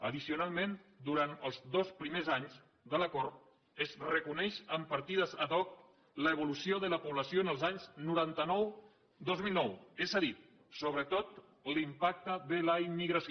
addicionalment durant els dos primers anys de l’acord es reconeix en partides ad hoc l’evolució de la població els anys noranta nou dos mil nou és a dir sobretot l’impacte de la immigració